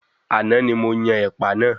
Àná ní mo yan ẹ̀pà náà.